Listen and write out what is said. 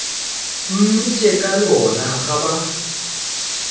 mmitša ka lona ga ba